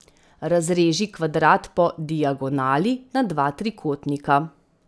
Razreži kvadrat po diagonali na dva trikotnika.